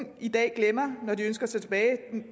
i dag glemmer når de ønsker sig tilbage